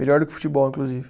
Melhor do que futebol, inclusive.